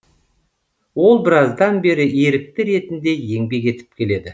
ол біраздан бері ерікті ретінде еңбек етіп келеді